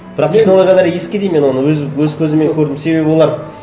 бірақ технологиялары ескі деймін мен оны өз көзіммен көрдім себебі олар